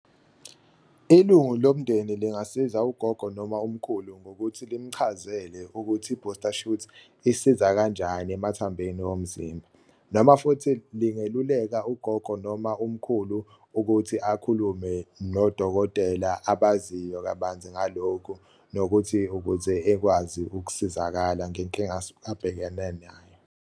Ilungu lomndeni lingasiza ugogo noma umkhulu ngokuthi limchazele ukuthi i-booster shoot isiza kanjani emathambeni omzimba, noma futhi lingeluleka ugogo noma umkhulu ukuthi akhulume nodokotela abaziyo kabanzi ngalokhu. Nokuthi ukuze ekwazi ukusizakala ngenkinga abhekene nayo.